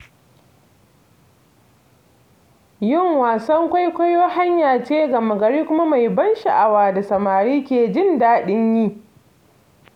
Yin wasan kwaikwayo hanya ce gama-gari kuma mai ban sha'awa da samari ke jin daɗin yi.